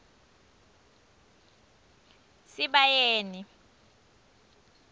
sibayeni